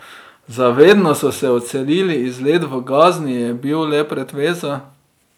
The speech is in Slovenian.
Za vedno so se odselili, izlet v Gazni je bil le pretveza.